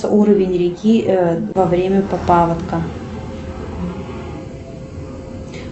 уровень реки во время паводка